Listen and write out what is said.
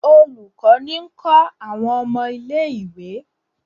Olùkó ní ń kó àwọn ọmọ ilé-ìwé.